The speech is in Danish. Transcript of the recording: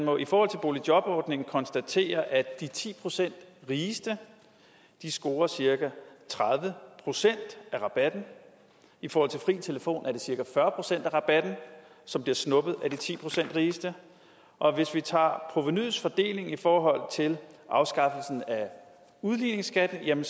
og i forhold til boligjobordningen konstatere at de ti procent rigeste scorer cirka tredive procent af rabatten i forhold til fri telefon er det cirka fyrre procent af rabatten som bliver snuppet af de ti procent rigeste og hvis vi tager provenuets fordeling i forhold til afskaffelsen af udligningsskatten er det